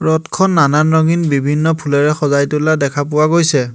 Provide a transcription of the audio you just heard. ৰথখন নানান ৰঙীন বিভিন্ন ফুলেৰে সজাই তোলা দেখা পোৱা গৈছে।